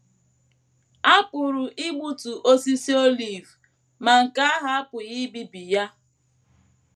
A pụrụ igbutu osisi olive, ma nke ahụ apụghị ibibi ya.